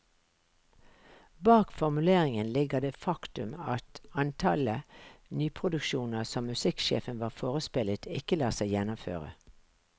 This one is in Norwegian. Bak formuleringen ligger det faktum at antallet nyproduksjoner som musikksjefen var forespeilet, ikke lar seg gjennomføre.